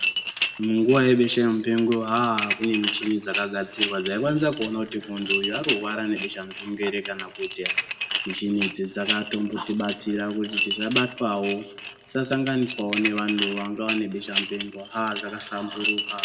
Munguwa yebesha mupengo aah kune michini dzakagadzirwa dzaikwanisa kuona kuti munhu uyu arikurwara nebesha mupengo ere kana kuti ,michini idzi dzakatombotibatsirawo kuti tisabatwawo ,tisasanganiswawo neantu anga ane beshamupengo aah dzakahlamburuka.